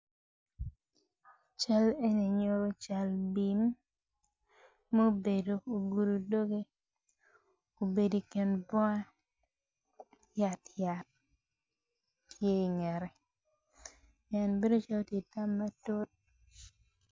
Cal eni nyuto cel bim mubedo ogudu ubedo i kin bunga yat tye ingette en bedo calo ti itam matut